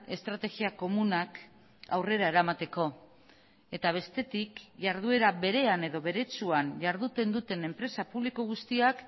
estrategia komunak aurrera eramateko eta bestetik jarduera berean edo beretsuan jarduten duten enpresa publiko guztiak